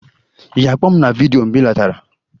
ị ga-akpọ m na vidiyo mgbe ị lọtara?